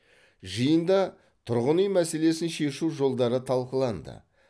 жиында тұрғын үй мәселесін шешу жолдары талқыланды